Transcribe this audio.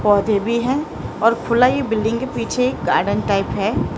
पौधे भी है और खुला ये बिल्डिंग के पीछे गार्डन एक टाइप है।